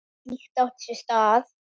Ekkert slíkt átti sér stað.